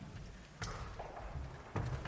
da